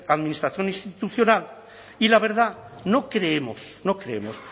administración institucional y la verdad no creemos no creemos